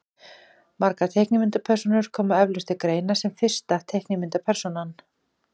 Margar teiknimyndapersónur koma eflaust til greina sem fyrsta teiknimyndapersónan.